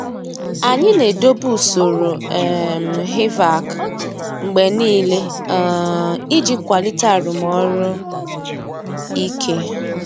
Anyị na-edobe usoro um HVAC mgbe niile um iji kwalite arụmọrụ ike.